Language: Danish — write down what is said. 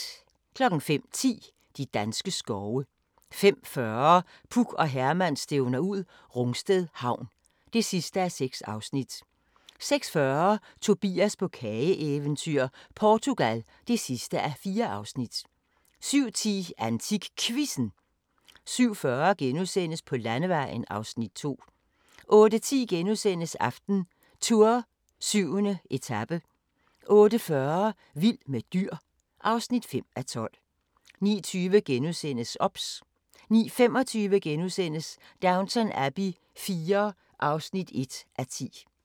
05:10: De danske skove 05:40: Puk og Herman stævner ud - Rungsted Havn (6:6) 06:40: Tobias på kageeventyr - Portugal (4:4) 07:10: AntikQuizzen 07:40: På landevejen (Afs. 2)* 08:10: AftenTour: 7. etape * 08:40: Vild med dyr (5:12) 09:20: OBS * 09:25: Downton Abbey IV (1:10)* 10:30: Havet omkring New Zealand (Afs. 1)